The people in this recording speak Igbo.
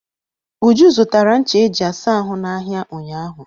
Uju zụtara ncha eji asa ahụ n'ahịa ụnyaahụ.